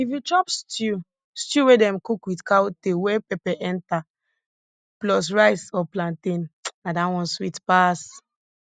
if you chop stew stew wey dem cook with cow tail wey pepper enter plus rice or plantain na dat one sweet pass